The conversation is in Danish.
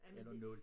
Eller 0